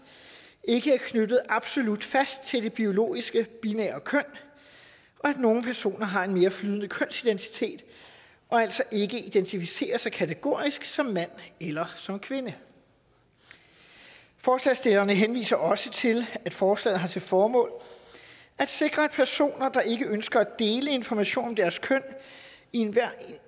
ikke er knyttet absolut fast til det biologiske binære køn og at nogle personer har en mere flydende kønsidentitet og altså ikke identificerer sig kategorisk som mand eller som kvinde forslagsstillerne henviser også til at forslaget har til formål at sikre at personer der ikke ønsker at dele information om deres køn i enhver